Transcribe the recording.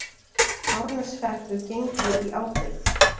Árneshreppur gengi í ábyrgð.